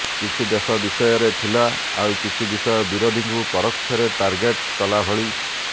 କିଛି ଦେଶ ବିଷୟରେ ଥିଲା ଆଉ କିଛି ବିଷୟ ବିରୋଧୀଙ୍କୁ ପରୋକ୍ଷରେ ଟାର୍ଗେଟ୍ କଲା ଭଳି